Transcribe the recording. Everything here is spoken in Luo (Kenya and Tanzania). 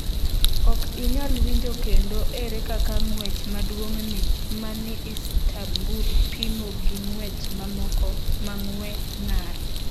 Ok inyal winjo kendo Ere kaka ng’wech maduong’ni ma ni Istanbul pimo gi ng’wech mamoko ma ng’we ng’ar?